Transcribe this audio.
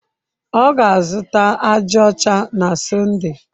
Ọ ga-azụta aja ọcha na Sọnde.